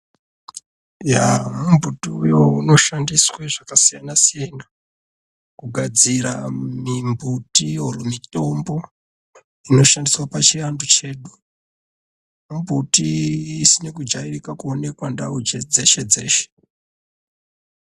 Yaa mumbuti uyo unoshandiswa zvakasiyana siyana kugadzira mumbutiyo mutombo inoshandiswa pachivandu chedu mumbuti isina kudyarika kana kuoneka dzeshe dzeshe